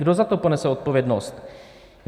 Kdo za to ponese odpovědnost?